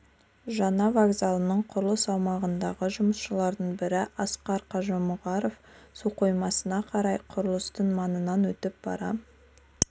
жаңа вокзалының құрылыс аумағындағы жұмысшылардың бірі асқар қажығұмаров су қоймасына қарай құрылыстың маңынан өтіп бара